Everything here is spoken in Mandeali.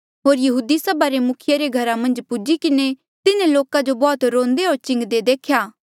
होर यहूदी सभा रे मुखिये रे घरा मन्झ पुज्ही किन्हें तिन्हें लोका जो बौह्त रोंदे होर चिंगदे देख्या